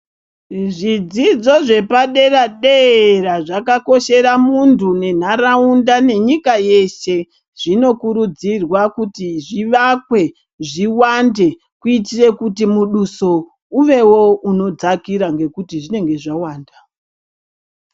Zvidzidzo zvepadera dera zvakakoshera muntu nenharaunda nenyika yeshe zvinokurudzirwa kuti zvivakwe zviwande kuitire kuti muduso uvewo unodzakira ngekuti zvinenge zvawanda.